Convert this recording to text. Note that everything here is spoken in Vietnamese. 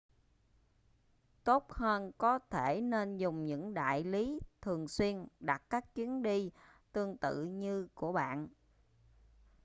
tốt hơn có thể nên dùng những đại lý thường xuyên đặt các chuyến đi tương tự như của bạn